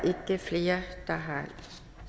ikke flere der har